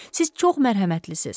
Siz çox mərhəmətlisiniz.